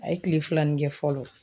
A ye kile filani kɛ fɔlɔ